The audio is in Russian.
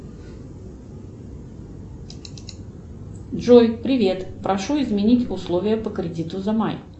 джой привет прошу изменить условия по кредиту за май